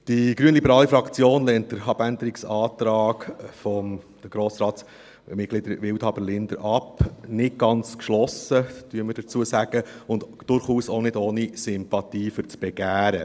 Die Glp-Fraktion lehnt den Abänderungsantrag der Grossratsmitglieder Wildhaber und Linder ab, nicht ganz geschlossen und durchaus auch nicht ohne Sympathie für dieses Begehren.